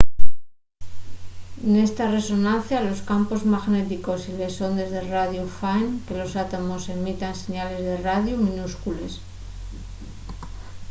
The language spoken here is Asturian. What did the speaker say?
nesta resonancia los campos magnéticos y les ondes de radiu faen que los atómos emitan señales de radiu minúscules